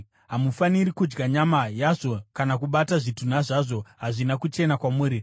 Hamufaniri kudya nyama yazvo kana kubata zvitunha zvazvo; hazvina kuchena kwamuri.